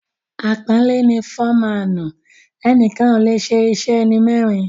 Àpọ́nlé ni ‘‘Fọ́maànù’’; ẹnìkan ò lè ṣe iṣẹ́ ẹni mẹ́rin.